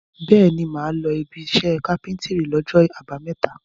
Bẹ́ẹ̀ni, mà á lọ ibiṣẹ́ kápẹ́ńtírì lọ́jọ́ àbámẹ́ta.